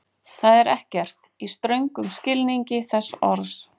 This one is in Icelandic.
Það er ekkert, í ströngum skilningi þess orðs.